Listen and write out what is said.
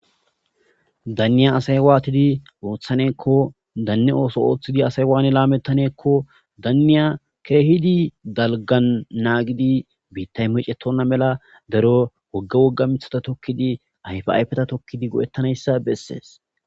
Daniya assayi watidi othaneko daniya watidi othidi lametaneko daniya kehidi daligani nagidi bittay mecetona mala darro wogga wogga mithata tokidi ayifa ayifeta tokidi goetanayisa beses